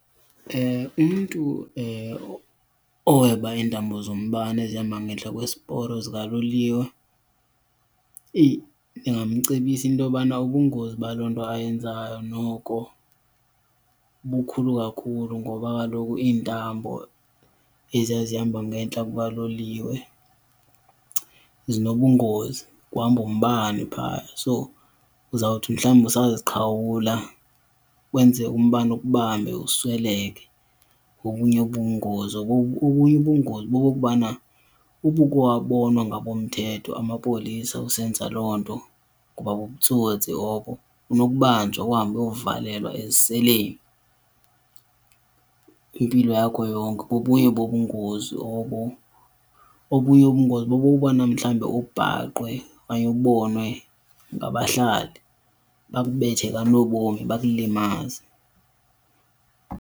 Umntu oweba iintambo zombane ezihamba ngentla kwesiporo zikaloliwe ndingamcebisa intobana ubungozi baloo nto ayenzayo noko bukhulu kakhulu ngoba kaloku iintambo eziya zihamba ngentla kuka loliwe zinobungozi. Kuhamba umbane phaya so uzawuthi mhlawumbi usaziqhawula wenze umbane ukubambe usweleke, bobunye ubungozi. Obunye ubungozi bokokubana uba uke wabonwa ngabomthetho, amapolisa, usenza loo nto kuba bubutsotsi obo unokubanjwa uhambe uyovalelwa eziseleni impilo yakho yonke, bobunya bobubungozi obo. Obunye ubungozi bobokubana mhlawumbe ubhaqwe okanye ubonwe ngabahlali bakubethe kanobomi, bakulimaze.